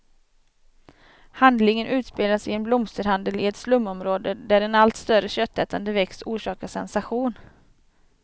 Handlingen utspelas i en blomsterhandel i ett slumområde, där en allt större köttätande växt orsakar sensation.